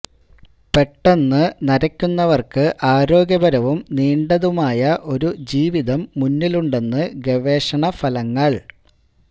പെട്ടന്ന് നരക്കുന്നവര്ക്ക് ആരോഗ്യപരവും നീണ്ടതുമായ ഒരു ജീവിതം മുന്നിലുണ്ടെന്ന് ഗവേഷണ ഫലങ്ങള്